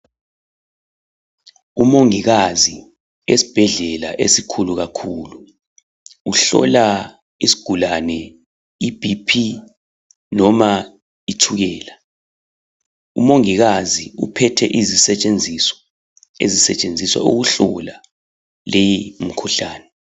Umongikazi esibhedlela esikhulu kakhulu, uhlola isigulane i"BP' noma itshukela. Umongikazi uphethe izisetshenziso ezisetshenziswa ukuhlola leyi mikhuhlane.